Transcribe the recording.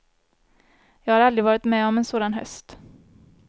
Jag har aldrig varit med om en sådan höst.